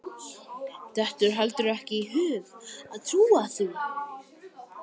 Dettur heldur ekki í hug að trúa því.